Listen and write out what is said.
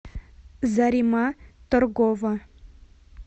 зарима торгова